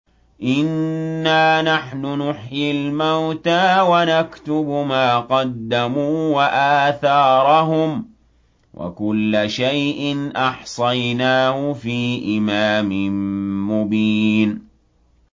إِنَّا نَحْنُ نُحْيِي الْمَوْتَىٰ وَنَكْتُبُ مَا قَدَّمُوا وَآثَارَهُمْ ۚ وَكُلَّ شَيْءٍ أَحْصَيْنَاهُ فِي إِمَامٍ مُّبِينٍ